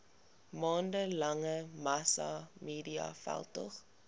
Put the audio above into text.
maande lange massamediaveldtog